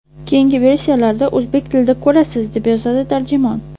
Keyingi versiyalarda o‘zbek tilida ko‘rasiz”, – deb yozadi tarjimon.